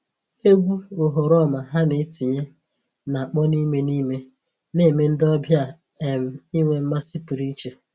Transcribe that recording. Egwu oghoroma ha na-etinye na-akpọ n'ime n'ime na-eme ndị ọbịa um inwe mmasị pụrụ iche